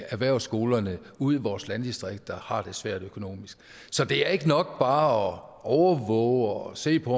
erhvervsskolerne ude i vores landdistrikter har det svært økonomisk så det er ikke nok bare at overvåge og se på